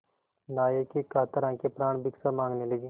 नायक की कातर आँखें प्राणभिक्षा माँगने लगीं